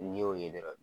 N'i y'o ye dɔrɔn